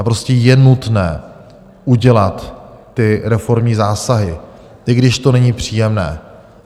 A prostě je nutné udělat ty reformní zásahy, i když to není příjemné.